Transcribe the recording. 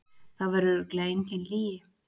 Það var örugglega engin lygi.